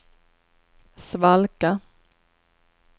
svalka